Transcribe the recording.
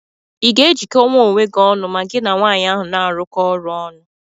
Iga ejikọnwụ onwe gi ọnụ ma gi n'nwanyi ahu n'arụkọ ọrụ ọnụ?